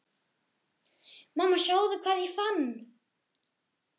Mamma sjáðu hvað ég fann!